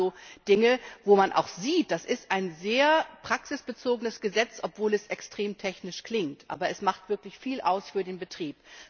Das waren solche Dinge, wo man auch sieht Das ist ein sehr praxisbezogenes Gesetz, obwohl es extrem technisch klingt, aber es macht wirklich viel aus für den Betrieb.